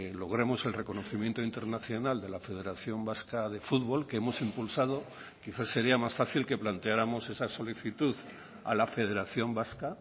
logremos el reconocimiento internacional de la federación vasca de fútbol que hemos impulsado quizás sería más fácil que planteáramos esa solicitud a la federación vasca